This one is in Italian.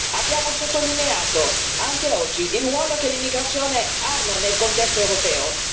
Abbiamo sottolineato, anche oggi, il ruolo che l'immigrazione ha nel contesto europeo.